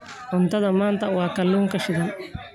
Cuntada maanta waa kalluunka shiilan.